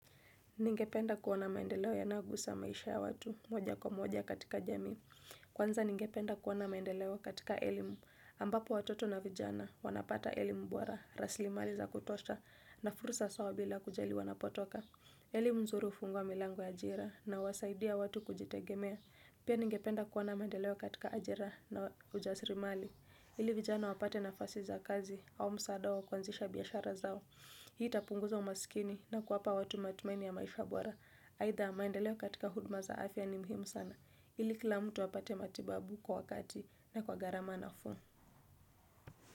Ningependa kuona maendeleo yanagusa maisha ya watu moja kwa moja katika jamii. Kwanza ningependa kuona maendeleo katika elimu. Ambapo watoto na vijana wanapata elimu bora, rasilimali za kutosha na fursa sawa bila kujali wanapotoka. Elimu nzuri hufungua milango ya ajira na huwasaidia watu kujitegemea. Pia ningependa kuona maendeleo katika ajira na ujasiri mali. Ili vijana wapate nafasi za kazi au msaada wa kuanzisha biashara zao. Hii itapunguza umaskini na kuwapa watu matumaini ya maisha bora aidha maendeleo katika huduma za afya ni muhimu sana ili kila mtu apate matibabu kwa wakati na kwa gharama nafuu.